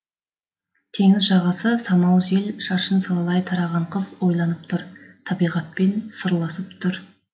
теңіз жағасы самал жел шашын салалай тараған қыз ойланып тұр табиғатпен сырласып тұр